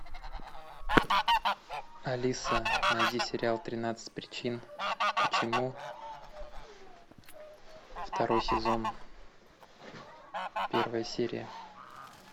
алиса найди сериал тринадцать причин почему второй сезон первая серия